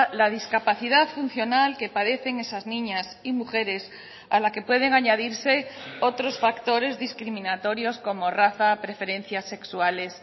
la discapacidad funcional que padecen esas niñas y mujeres a la que pueden añadirse otros factores discriminatorios como raza preferencias sexuales